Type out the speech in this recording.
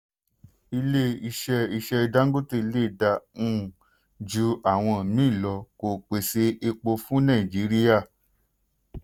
ilé iṣẹ́ iṣẹ́ dangote lè dáa um ju àwọn míì lọ kó pèsè epo fún nàìjíríà.